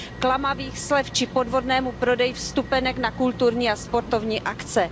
klamavých slev či podvodného prodeje vstupenek na kulturní a sportovní akce.